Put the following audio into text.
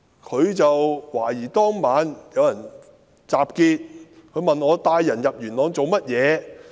他懷疑當晚有人集結，問我帶人到元朗做甚麼。